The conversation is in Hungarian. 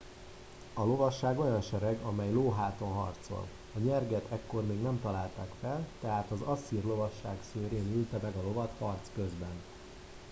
a lovasság olyan sereg amely lóháton harcol a nyerget ekkor még nem találták fel tehát az asszír lovasság szőrén ülte meg a lovat harc közben